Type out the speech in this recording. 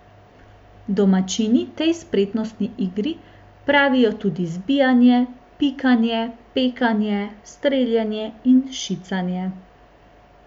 Domačini tej spretnostni igri pravijo tudi zbijanje, pikanje, pekanje, streljanje in šicanje.